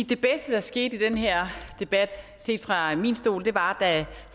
det bedste der skete i den her debat set fra min stol var da